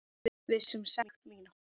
Viss um sekt mína.